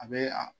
A bɛ a